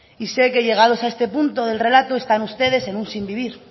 y sé que llegados a este punto del relato están ustedes en un sin vivir